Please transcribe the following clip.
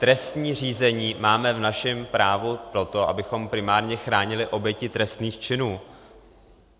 Trestní řízení máme v našem právu proto, abychom primárně chránili oběti trestných činů.